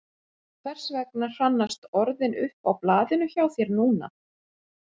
Hversvegna hrannast orðin upp á blaðinu hjá þér núna?